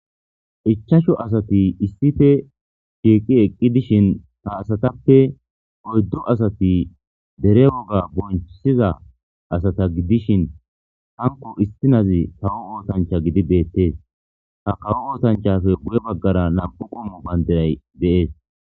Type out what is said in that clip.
Ichashu asati shiqi eqi dishin ha asatappe oyddati derese woga qoncisiza asata gidishin hankko issinezi kawo ossancha gidi bettes. Ha kawo ossanchappe guye bagara nam'' u qommo bandiray bettes.